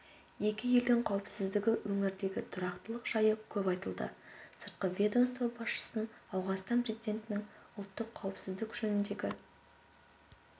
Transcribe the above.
екі елдің қауіпсіздігі өңірдегі тұрақтылық жайы көп айтылды сыртқы ведомство басшысын ауғанстан президентінің ұлттық қауіпсіздік жөніндегі